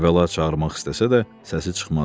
Əvvəla çağırmaq istəsə də səsi çıxmazdı.